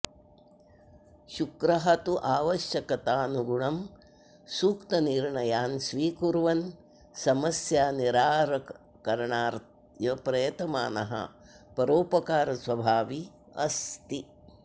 शुक्रः तु आवश्यकतानुगुणं सूक्तनिर्णयान् स्वीकुर्वन् समस्यानिरारणाय प्रयतमानः परोपकारस्वभावी अस्ति